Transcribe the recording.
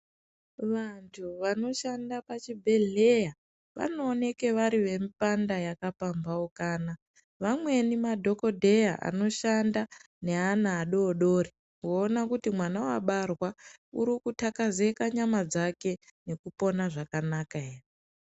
Vantu vanoshanda pachibhedhleya vanooneke vari vemupanda yakapambhaukana. Vamweni madhokodheya anoshanda neana adoodori kuona kuti mwana wabarwa urikuthakazeka nyama dzake nekupona zvakanaka ere.